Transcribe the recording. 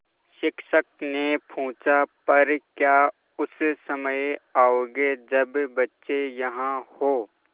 शिक्षक ने पूछा पर क्या उस समय आओगे जब बच्चे यहाँ हों